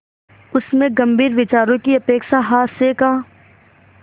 उसमें गंभीर विचारों की अपेक्षा हास्य का